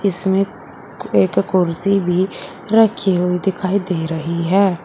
इसमें एक कुर्सी भी रखी हुई दिखाई दे रही है।